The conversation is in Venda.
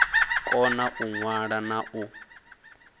kona u ṅwala na u